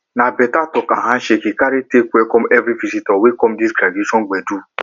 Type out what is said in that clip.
na better talk and handshake he carry take welcome everi visitor wey come di graduation gbedu